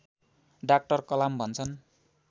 doctor Kalam भन्छन्